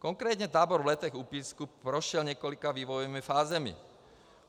Konkrétně tábor v Letech u Písku prošel několika vývojovými fázemi.